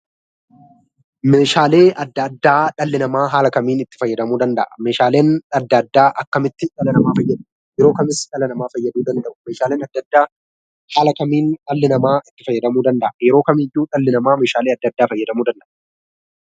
Meeshaalee adda addaa dhalli namaa haala kamiin itti fayyadamuu danda'a? Meeshaaleen adda addaa akkamitti dhala namaa fayyadu? Yeroo kamis dhala namaa fayyaduu danda'u? Meeshaaleen adda addaa haala kamiin dhalli itti fayyadamuu danda'a? Yeroo kamiyyuu dhalli namaa meeshaalee adda addaa fayyadamuu danda'a.